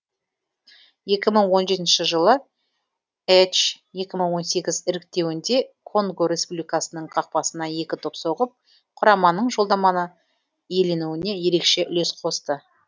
екі мың он жетінші жылы әч екі мың он сегіз іріктеуінде конго республикасының қақпасына екі доп соғып құраманың жолдаманы иеленуіне ерекше үлес қосты